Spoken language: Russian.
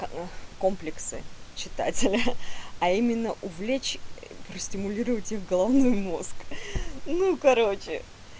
а комплексы читателя а именно увлечь простимулировать их головной мозг ну короче